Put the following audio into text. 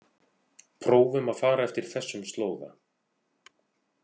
Prófum að fara eftir þessum slóða.